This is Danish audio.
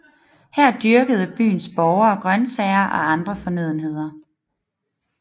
Her dyrkede byens borgere grøntsager og andre fornødenheder